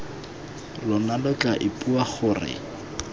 lona lo tla ipua gore